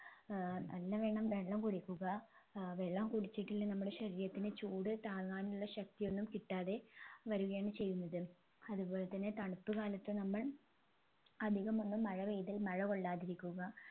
ഏർ നല്ലവണ്ണം വെള്ളം കുടിക്കുക ഏർ വെള്ളം കുടിച്ചിട്ടില്ലേൽ നമ്മളെ ശരീരത്തിന് ചൂട് താങ്ങാനുള്ള ശക്തിയൊന്നും കിട്ടാതെ വരികയാണ് ചെയ്യുന്നത് അതുപോലെ തന്നെ തണുപ്പ്കാലത്ത് നമ്മൾ അധികമൊന്നും മഴ പെയ്താൽ മഴ കൊള്ളാതിരിക്കുക